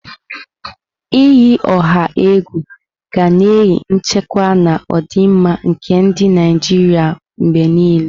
Iyi ọha egwu ga na-eyi nchekwa na ọdịmma nke ndị Naijiria mgbe niile.